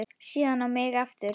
Síðan á mig aftur.